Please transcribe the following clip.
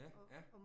Ja, ja